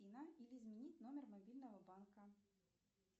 или изменить номер мобильного банка